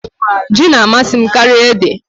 Ji na-amasị m karịa ede.